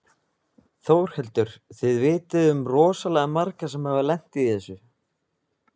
Þórhildur: Þið vitið um rosalega marga sem hafa lent í þessu?